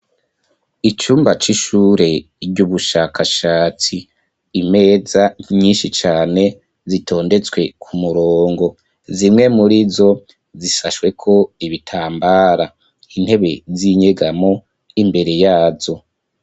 Icumba c'ishure ry'ubushakashatsi, imeza nyinshi cane Zitondetswe ku murongo, zimwe muri zo zisashwe ko ibitambara, intebe z'inyegamo imbere yazo.